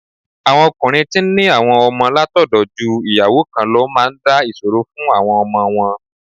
Àwọn ọkùnrin tí ń ní àwọn ọmọ látọ̀dọ̀ ju ìyàwó kan lọ máa ń dá ìṣòro fún àwọn ọmọ wọn.